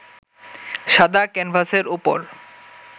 সাদা ক্যানভাসের ওপর